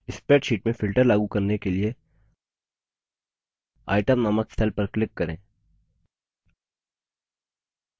spreadsheet में filter लागू करने के लिए itemनामक cell पर click करें